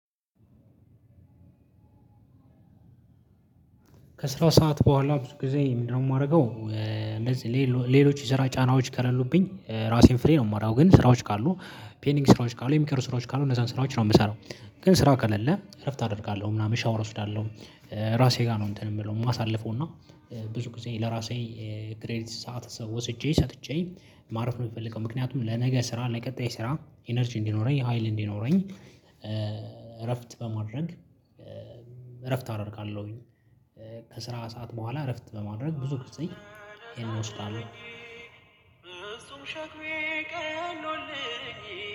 ከስራ ሰዓት በኋላ ብዙ ጊዜ ምንድነው? ማረገው እንደዚህ ሌሎች የስራ ጫናዎች ከሌሉብኝ ራሴን ፍሪ ነው። ማገው ግን ስራዎች ካሉ ፔኒንግ ስራዎች ካሉ የሚቀሩ ስራዎች ካሉ እነዛን ስራዎች ነው ምሰራው። ግን ስራ ከሌለ እረፍት አደርጋለሁ ምናምን ሻወር እወስዳለሁ። ራሴ ጋር ነው እንትን ምለው ማሳልፈው እና ብዙ ጊዜ ለራሴ ክሬዲት ሰዓት ሰው ወስጄ ሰጥቼ ማረፍ ነው ምፈልገው። ምክንያቱም ለነገ ስራ ለቀጣይ ስራ ኢነርጂ እንዲኖረኝ ሀይል እንዲኖረኝ። እረፍት በማድረግ እረፍት አደርጋለሁኝ። ከስራ ሰዓት በኋላ እረፍት በማድረግ ብዙ ጊዜ እሱም ሸክሜ ቀሎልኝ።